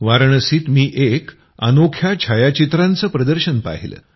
वाराणसीत मी एक अनोख्या छायाचित्रांचं प्रदर्शन पाहिलं